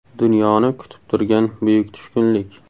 Dunyoni kutib turgan buyuk tushkunlik.